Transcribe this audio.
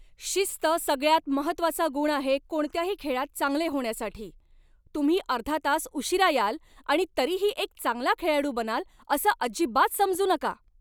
शिस्त सगळ्यात महत्त्वाचा गुण आहे कोणत्याही खेळात चांगले होण्यासाठी. तुम्ही अर्धा तास उशीरा याल आणि तरीही एक चांगला खेळाडू बनाल असं अजिबात समजू नका.